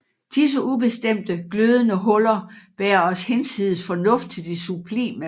Disse ubestemte glødende huller bærer os hinsides fornuft til det sublime